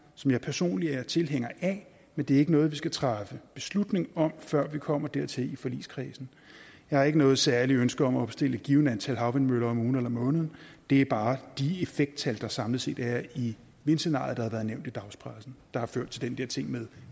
som jeg personlig er tilhænger af men det er ikke noget vi skal træffe beslutning om før vi kommer dertil i forligskredsen jeg har ikke noget særligt ønske om at bestille et givent antal havvindmøller om ugen eller måneden det er bare de effekttal der samlet set er i vindscenariet og har været nævnt i dagspressen der har ført til den der ting med